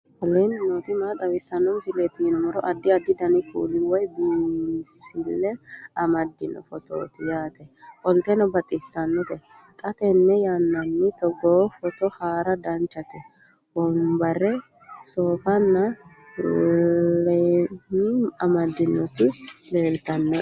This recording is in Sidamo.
aleenni nooti maa xawisanno misileeti yinummoro addi addi dananna kuula woy biinsille amaddino footooti yaate qoltenno baxissannote xa tenne yannanni togoo footo haara danchate wombarra soofanna leemme amandoonniti leltannoe